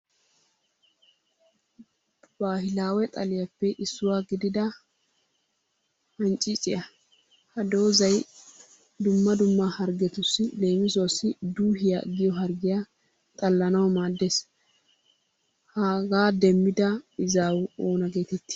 Baahilaawe xaliyaappe issuwaa gidida hancciiciya. Ha doozzay dumma dumma hargetussi leemisuwaassi duuhiya giyo harggiya xallanawu maaddes. Hagaa demmida izawu oona geetetti?